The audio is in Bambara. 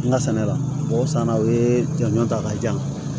N ka sɛnɛ la mɔgɔ saba u ye jɔnjɔn ta k'a jan